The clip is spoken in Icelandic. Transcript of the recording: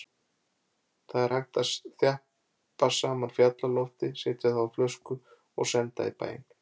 Það er hægt að þjappa saman fjallalofti, setja það á flösku og senda í bæinn.